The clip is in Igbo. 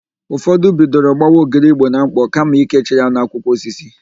Ụfọdụ bidoro gbawa ogiri Igbo na ḿkpọ̀ kama ikechi ya n'akwụkwọ osisi.